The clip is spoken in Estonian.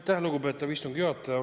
Aitäh, lugupeetav istungi juhataja!